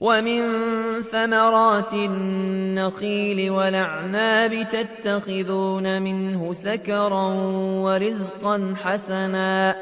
وَمِن ثَمَرَاتِ النَّخِيلِ وَالْأَعْنَابِ تَتَّخِذُونَ مِنْهُ سَكَرًا وَرِزْقًا حَسَنًا ۗ